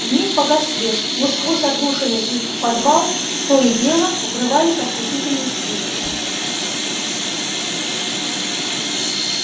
вмиг погас свет но сквозь отдушины и в подвал то и дело врывались ослепительные вспышки